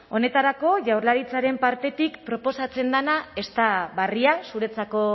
honetarako jaurlaritzaren partetik proposatzen dena ez da berria zuretzako